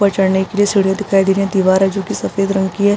ऊपर चढ़ने के लिए सीढियां दिखाई दे रही हैं। दीवारे जो की सफ़ेद रंग की है।